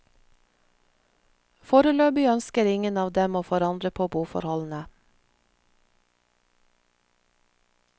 Foreløpig ønsker ingen av dem å forandre på boforholdene.